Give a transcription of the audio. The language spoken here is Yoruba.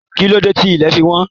Ki n ló dé tí ilẹ̀ fí wọ́n?